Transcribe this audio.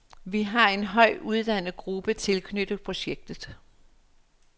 Vi har en højt uddannet gruppe tilknyttet projektet.